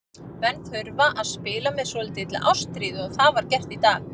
Menn þurfa að spila með svolítilli ástríðu og það var gert í dag.